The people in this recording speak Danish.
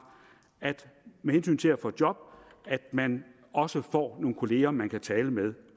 med hensyn til at få job at man også får nogle kolleger man kan tale med